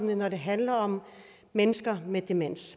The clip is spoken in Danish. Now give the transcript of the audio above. når det handler om mennesker med demens